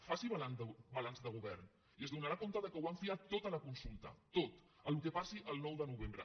faci balanç de govern i s’adonarà que ho han fiat tot a la consulta tot al que passi el nou de novembre